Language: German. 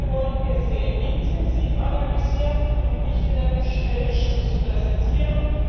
Diese wollen wir sehr intensiv analysieren und nicht in einem Schnellschuss präsentieren.